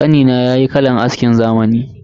Kanina yayi kalan askin zamani.